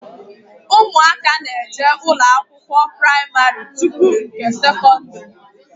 Ụmụaka na-eje ụlọ akwụkwọ pramarị tupu nke sekọndrị